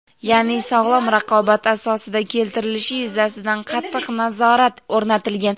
ya’ni sog‘lom raqobat asosida keltirilishi yuzasidan qattiq nazorat o‘rnatilgan.